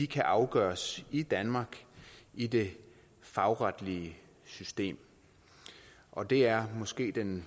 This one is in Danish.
kan afgøres i danmark i det fagretlige system og det er måske den